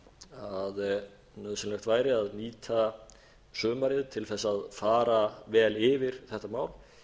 að nauðsynlegt væri að nýta sumarið til þess að fara vel yfir þetta mál